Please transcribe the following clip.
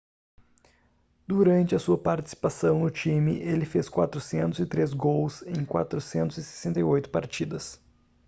durante a sua participação no time ele fez 403 gols em 468 partidas